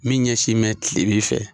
Min ɲɛ sin bɛ tilebi fɛ.